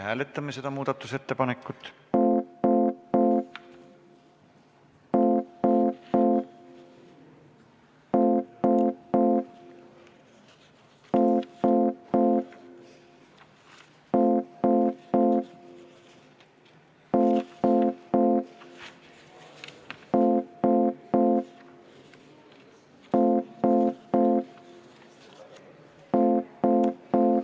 Palun seda muudatusettepanekut hääletada!